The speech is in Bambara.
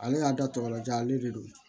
Ale y'a da tɔbɔlajan ale le don